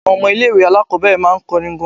Àwọn ọmọ ilé ìwé aláàkọ́bẹ̀rẹ̀ máa ń kọrin gan.